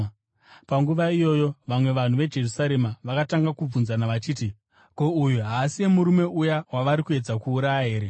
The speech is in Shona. Panguva iyoyo vamwe vanhu veJerusarema vakatanga kubvunzana vachiti, “Ko, uyu haasiye murume uya wavari kuedza kuuraya here?